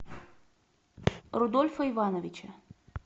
рудольфа ивановича